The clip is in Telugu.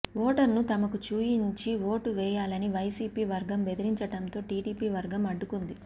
ఓటర్ను తమకు చూయించి ఓటు వేయాలని వైసీపీ వర్గం బెదిరించడంతో టీడీపీ వర్గం అడ్డుకుంది